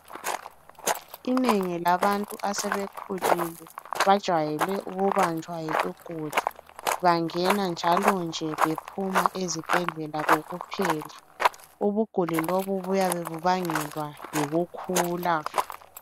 Inengi labantu asebekhulile, bajayele ukubanjwa yikugula. Bangena njalonje bephuma ezibhedlela kokuphela. Ubuguli lobu buyabe bubangelwa yikukhula.